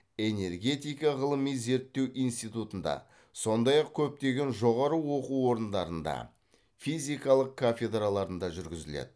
энергетика ғылыми зерттеу институтында сондай ақ көптеген жоғары оқу орындарында физикалық кафедраларында жүргізіледі